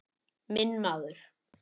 Minn maður.